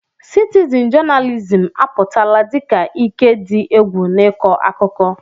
Citizin jonalizim apụtala dị ka ike dị egwu n'ịkọ akụkọ.